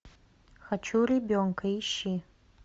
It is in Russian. хочу ребенка ищи